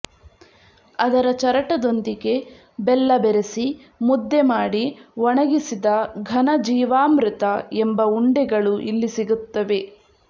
ಅದರ ಚರಟದೊಂದಿಗೆ ಬೆಲ್ಲ ಬೆರೆಸಿ ಮುದ್ದೆ ಮಾಡಿ ಒಣಗಿಸಿದ ಘನ ಜೀವಾಮೃತ ಎಂಬ ಉಂಡೆಗಳು ಇಲ್ಲಿ ಸಿಗುತ್ತವೆ